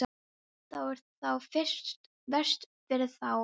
Það er þá verst fyrir þá sjálfa.